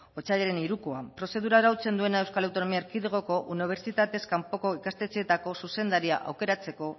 otsailaren hirukoa prozedura arautzen duena euskal autonomia erkidegoko unibertsitatez kanpoko ikastetxeetako zuzendaria aukeratzeko